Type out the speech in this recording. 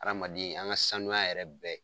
Adamaden an ka saniya yɛrɛ bɛɛ